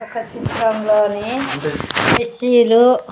ఒక చిత్రంలోని కుర్చీలు--